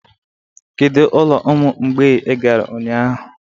Kedu ụlọ ụmụ mgbei ị gara ụnyahụ?